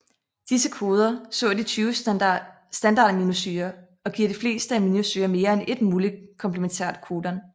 Disse koder så de tyve standardaminosyrer og giver de fleste aminosyrer mere end ét muligt komplementært codon